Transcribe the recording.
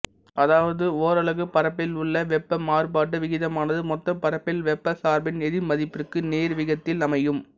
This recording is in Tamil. அதாவது ஒரலகு பரப்பில் உள்ள வெப்ப மாறுபாட்டு விகிதமானது மொத்தப் பரப்பில் வெப்பச் சார்பின் எதிர்மதிப்பிற்கு நேர்விகிதத்தில் அமையும்